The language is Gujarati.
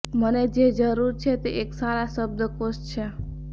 મને જે જરૂર છે તે એક સારા શબ્દકોશ છે